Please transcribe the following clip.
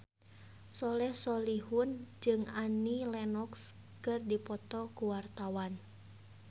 Soleh Solihun jeung Annie Lenox keur dipoto ku wartawan